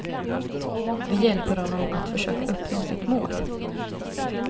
Vi hjälper honom att försöka uppnå sitt mål.